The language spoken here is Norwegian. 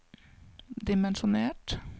dimensjonert